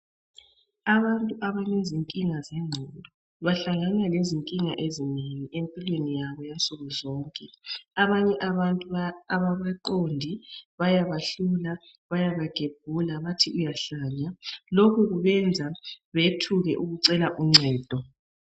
Abantu abalezinkinga zengqondo bahlangane lezinkinga ezinengi empilweni yabo yansuku zonke. Abanye abantu ababaqondi bayabahlula bayabagemula bathi uyahlanya. Lokhu kubenza beyethuke ukucela uncedo.